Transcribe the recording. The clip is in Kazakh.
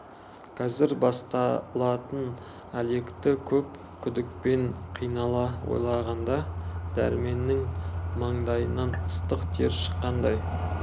қазір басталатын әлекті көп күдікпен қинала ойлағанда дәрменнің маңдайынан ыстық тер шыққандай